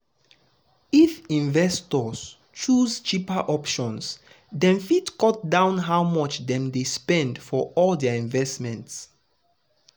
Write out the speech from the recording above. if investors choose cheaper options dem fit cut down how much dem dey spend for all their investments. investments.